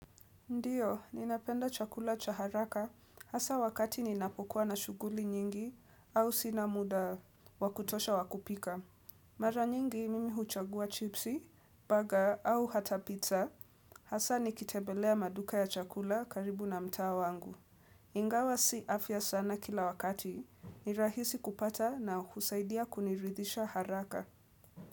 Ndiyo, ninapenda chakula cha haraka hasa wakati ninapokuwa na shuguli nyingi au sinamuda wakutosha wakupika. Mara nyingi mimi huchagua chipsi, burger au hata pizza hasa nikitebelea maduka ya chakula karibu na mtao wangu. Ingawa si afya sana kila wakati, ni rahisi kupata na husaidia kuniridisha haraka.